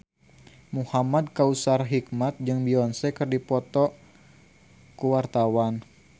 Muhamad Kautsar Hikmat jeung Beyonce keur dipoto ku wartawan